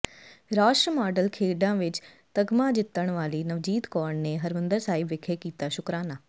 ਰਾਸ਼ਟਰ ਮੰਡਲ ਖੇਡਾਂ ਵਿਚ ਤਗਮਾ ਜਿੱਤਣ ਵਾਲੀ ਨਵਜੀਤ ਕੌਰ ਨੇ ਹਰਿਮੰਦਰ ਸਾਹਿਬ ਵਿਖੇ ਕੀਤਾ ਸ਼ੁਕਰਾਨਾ